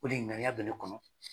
ŋaniya bɛ ne kɔnɔ.